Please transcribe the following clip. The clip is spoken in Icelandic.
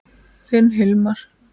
Þinn Hilmar.